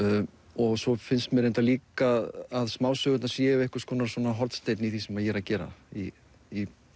og svo finnst mér líka að smásögurnar séu hornsteinn í því sem ég er að gera í í